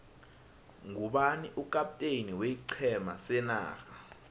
ngubani ukapteni weiqhema senarha